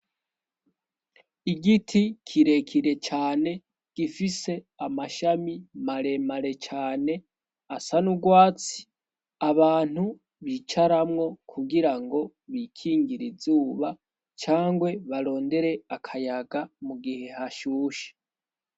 Igiti kirekire cane gifise amashami maremare cane asa n'urwatsi. Abantu bicaramwo kugirango bikingire izuba cangwe barondere akayaga, mu gihe hashushe.